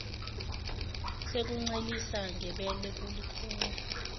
sokuncelisa ngebele kulukhuni